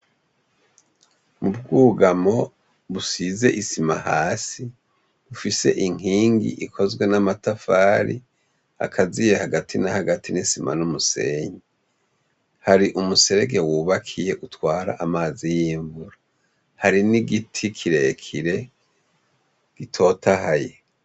Ikigo c' ishure gifis' amashure menshi cane, uruhande rumwe rufis' ubwugamo busiz' isima, hasi bufis' inkingi, ikozwe n' amatafar' akaziye hagati na hagati n' isima n' umusenyi, har' umuserege wubakiy' utwar' amazi y' imvura, hari n' igiti kirekire gitotahaye.